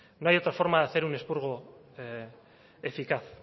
no hay otra forma de hacer un expurgo eficaz